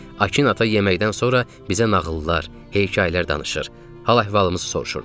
Akin ata yeməkdən sonra bizə nağıllar, hekayələr danışır, hal-əhvalımızı soruşurdu.